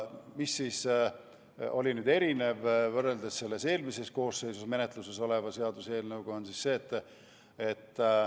Mis on nüüd erinev võrreldes eelmises koosseisus menetluses olnud seaduseelnõuga?